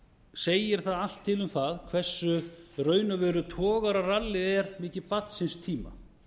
segir það allt til um það hversu í raun og veru togararallið er með barn síns tíma